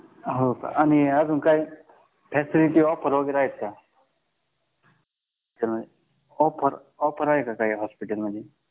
आणि अजून काय फॅसिलिटी ऑफर वगैरे आहेत का ऑफर ऑफर आहे का काय हॉस्पिटलमध्ये